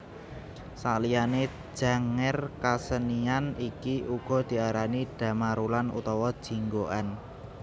Saliyané Janger kasenian iki uga diarani Dhamarulan utawa Jinggoan